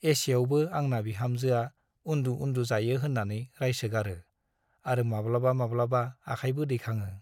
एसेआवबो आंना बिहामजोआ उन्दु - उन्दु जायो होन्नानै रायसोगारो आरो माब्लाबा माब्लाबा आखायबो दैखाङो ।